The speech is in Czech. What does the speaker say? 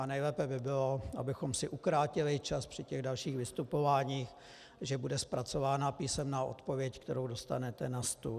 A nejlépe by bylo, abychom si ukrátili čas při těch dalších vystupováních, že bude zpracována písemná odpověď, kterou dostanete na stůl.